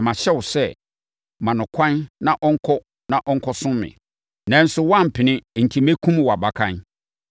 na mahyɛ wo sɛ, “Ma no ɛkwan na ɔnkɔ na ɔnkɔsom me.” Nanso woampene enti mɛkum wʼabakan.’ ”